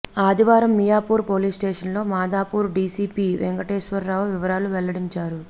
ఆదివారం మియాపూర్ పోలీస్ స్టేషన్లో మాదాపూర్ డీసీపీ వెంకటేశ్వర్రావు వివరాలు వెల్లడించారు